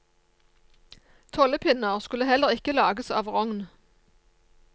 Tollepinner skulle heller ikke lages av rogn.